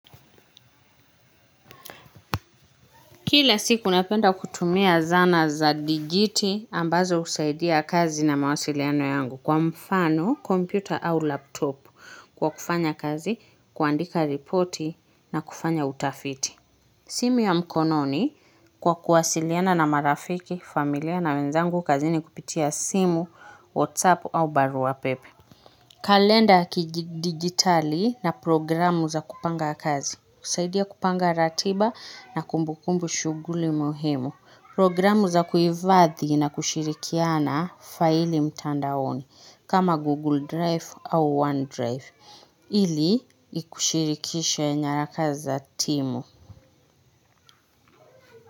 Kile siku napenda kutumia zanaa za digiti ambazo husaidia kazi na mawasiliano yangu kwa mfano, kompyuta au laptop kwa kufanya kazi, kuandika ripoti na kufanya utafiti. Simu ya mkononi kwa kuwasiliana na marafiki, familia na wenzangu kazini kupitia simu, whatsapp au barua pepe. Kalenda ya kidigitali na programu za kupanga kazi husaidia kupanga ratiba na kumbukumbu shuguli muhimu. Programu za kuhifadhi na kushirikiana faili mtandaoni kama Google Drive au OneDrive ili kushirikisha nyaraka za timu.